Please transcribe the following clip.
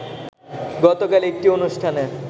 গতকাল একটি অনুষ্ঠানে